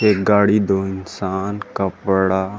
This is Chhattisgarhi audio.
एक गाड़ी दो इंसान कपड़ा--